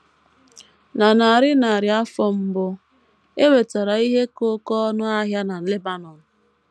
Na narị narị afọ mbụ, e nwetara ihe ka oké ọnụ ahịa na Lebanọn.